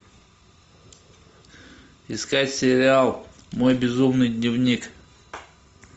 искать сериал мой безумный дневник